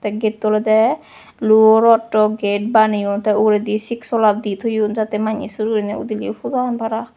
te gate to olode luo rodo gate baneyon te uguredi sik sola di toyon jate mannei sur gurinei udileyo puda han para.